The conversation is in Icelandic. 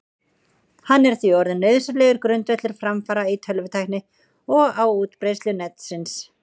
Hann er því orðinn nauðsynlegur grundvöllur framfara í tölvutækni og á útbreiðslu Netsins.